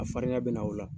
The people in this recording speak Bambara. A farinya bɛ na o la